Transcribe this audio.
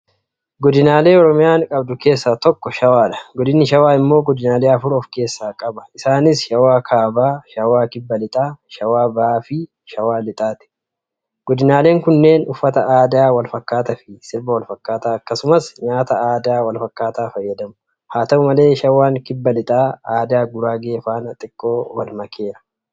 Godinaalee Oromiyaan qabdu keessaa tokko shawaadha. Godinni shawaa immoo godinaalee afur ofkeessaa qaba. Isaanis Shawaa kaabaa, Shawaa kibba lixaa, Shawaa bahaafi Shawaa lixaa jedhamu. Godinaaleen kunneen uffata aadaa walfakkaataafi sirba walfakkaataa akkasumas nyaata aadaa walfakkaataa fayyadamu. Haata'u malee shawaan kibba lixaa aadaa Guraagee faana xiqqoo walmakeera.